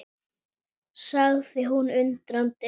Okkur fannst líka einsog mávarnir styndu og rymdu í kringum hræið.